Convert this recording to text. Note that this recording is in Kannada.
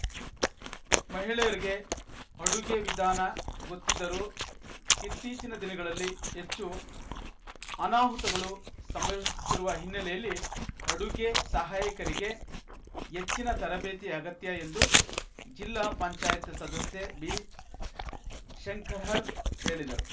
ಮಹಿಳೆಯರಿಗೆ ಅಡುಗೆ ವಿಧಾನ ಗೊತ್ತಿದ್ದರೂ ಇತ್ತೀಚಿನ ದಿನಗಳಲ್ಲಿ ಹೆಚ್ಚು ಅನಾಹುತಗಳು ಸಂಭವಿಸುತ್ತಿರುವ ಹಿನ್ನೆಲೆಯಲ್ಲಿ ಅಡುಗೆ ಸಹಾಯಕರಿಗೆ ಹೆಚ್ಚಿನ ತರಬೇತಿ ಅಗತ್ಯ ಎಂದು ಜಿಲ್ಲಾ ಪಂಚಾಯಿತ್ ಸದಸ್ಯೆ ಬಿಶಂಕಹರ್‌ ಹೇಳಿದರು